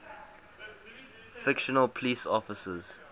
fictional police officers